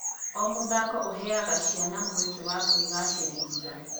O mũthako ũheaga ciana mwke wa kwĩgacĩrithia.